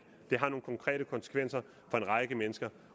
det har nogle konkrete konsekvenser for en række mennesker